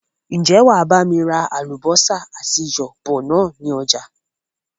Ń jẹ́ wàá bami ra àlùbósà àti iyọ̀ bọ̀ ni ọjà?